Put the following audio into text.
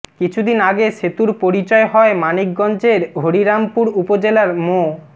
কিছুদিন আগে সেতুর পরিচয় হয় মানিকগঞ্জের হরিরামপুর উপজেলার মো